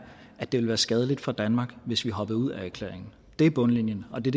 at det vil være skadeligt for danmark hvis vi hopper ud af erklæringen det er bundlinjen og det